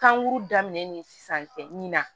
Kanguru daminɛ ni sisan cɛ nin na